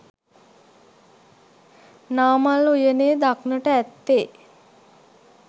නාමල් උයනේ දක්නට ඇත්තේ